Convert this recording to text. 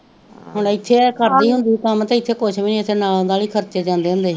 ਹੁਣ ਇਥੇ ਏਹ ਕਰਦੀ ਹੁੰਦੀ ਸੀ ਕੰਮ ਤੇ ਇਥੇ ਕੁਜ ਵੀ ਨੀ ਇਥੇ ਨਾ ਆਉਂਦਾ ਸੀ ਖਰਚੇ ਜਾਂਦੇ ਹੁੰਦੇ ਸੀ